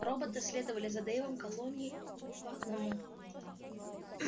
роботы следовали за дейвом колонной по одному